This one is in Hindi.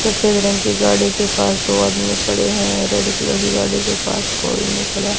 सफेद रंग की गाड़ी के पास दो आदमी खड़े हैं रेड कलर की गाड़ी के पास कोई नहीं खड़ा--